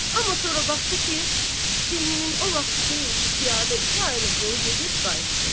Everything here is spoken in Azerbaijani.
Amma sonra baxdı ki, sinnin o vaxtı deyil ki, piyada iki aylıq yolu gedib qayıtsın.